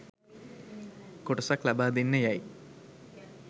කොටසක් ලබා දෙන්න යැයි